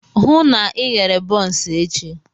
Hụụ na Ị ghere bọns echi!